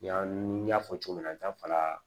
Ɲani n y'a fɔ cogo min na n ta fana